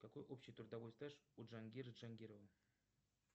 какой общий трудовой стаж у джангира джангирова